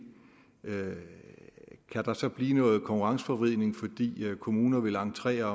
kan der så blive noget konkurrenceforvridning fordi kommuner vil entrere